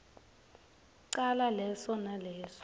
cala leso naleso